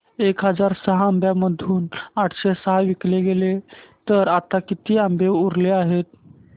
एक हजार आंब्यांमधून आठशे सहा विकले गेले तर आता किती आंबे उरले आहेत